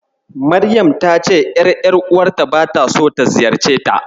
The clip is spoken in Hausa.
Maryam ta ce ƴar ƴar'uwarta bata so ta ziyarceta.